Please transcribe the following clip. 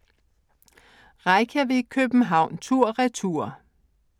Reykjavik - København tur/retur